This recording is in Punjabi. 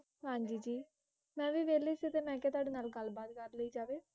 ਹਾਂਜੀ ਜੀ ਮੈਂ ਵੀ ਵੇਲਿ ਸੀ ਤੇ ਮੈਂ ਕਿਹਾ ਤੁਹਾਡੇ ਨਾਲ ਗੱਲਬਾਤ ਕਾਰ ਲਈ ਜਾਵੇ